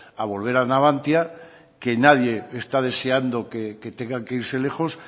a volver a navantia que nadie está deseando que tengan que irse lejos